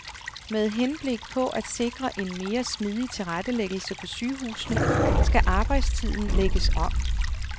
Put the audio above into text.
Med henblik på at sikre en mere smidig tilrettelæggelse på sygehusene skal arbejdstiden lægges om.